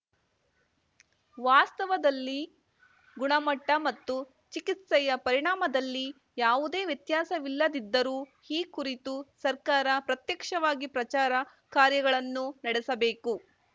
ವಾಸ್ತವದಲ್ಲಿ ಗುಣಮಟ್ಟಮತ್ತು ಚಿಕಿತ್ಸೆಯ ಪರಿಣಾಮದಲ್ಲಿ ಯಾವುದೇ ವ್ಯತ್ಯಾಸವಿಲ್ಲದಿದ್ದರೂ ಈ ಕುರಿತು ಸರ್ಕಾರ ಪ್ರತ್ಯಕ್ಷವಾಗಿ ಪ್ರಚಾರ ಕಾರ್ಯಗಳನ್ನು ನಡೆಸಬೇಕು